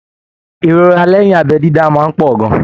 Ìrora lẹyìn abẹ dídá máa n pọ gan-an.